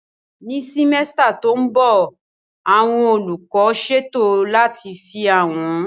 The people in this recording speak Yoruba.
Ní simẹ́sítà tó mbọ̀, àwọn olùkọ́ ṣètò láti fi àwọn